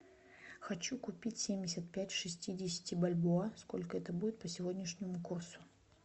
хочу купить семьдесят пять шестидесяти бальбоа сколько это будет по сегодняшнему курсу